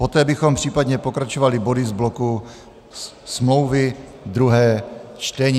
Poté bychom případně pokračovali body z bloku smlouvy, druhé čtení.